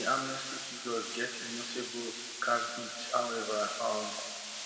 di amnesty figures get a notable caveat howeva um